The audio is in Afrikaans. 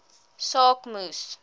saak moes